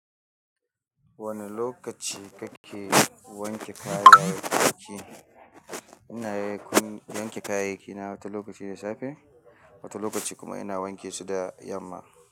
Wane lokaci kake wanke kayayyakin? Ina wanke kayayyaki na wata lokaci da safe, wata lokaci kuma ina wanke su da yamma.